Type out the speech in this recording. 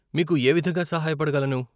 మీకు ఏ విధంగా సహాయపడగలను?